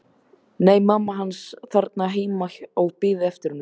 Nei, mamma hans var þarna heima og beið eftir honum.